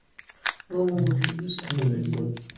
બઉ મોગુ થઇ ગયું સે